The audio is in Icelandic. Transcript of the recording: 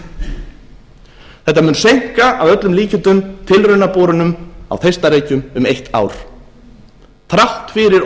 vatta þetta mun seinka að öllum líkindum tilraunaborunum á þeistareykjum um eitt ár þrátt fyrir